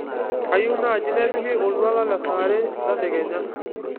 kayieu naaji nepiki oltuala le saa are tedekenya